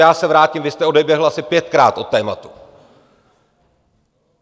Já se vrátím, vy jste odběhl asi pětkrát od tématu.